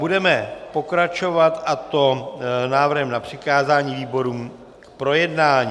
Budeme pokračovat, a to návrhem na přikázání výborům k projednání.